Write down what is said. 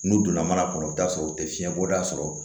N'u donna mana kɔnɔ i bɛ t'a sɔrɔ u tɛ fiɲɛ bɔda sɔrɔ